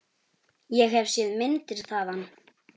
Ég hef séð myndir þaðan.